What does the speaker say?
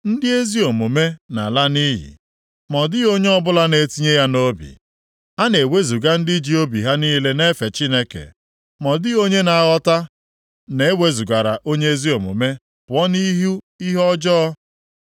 Ndị ezi omume na-ala nʼiyi, ma ọ dịghị onye ọbụla na-etinye ya nʼobi; a na-ewezuga ndị ji obi ha niile na-efe Chineke, ma ọ dịghị onye na-aghọta, na-ewezugara onye ezi omume pụọ nʼihu ihe ọjọọ.